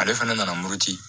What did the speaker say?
Ale fana nana muruti